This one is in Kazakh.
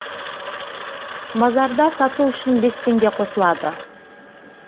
базарда сату үшін бес теңге қосылады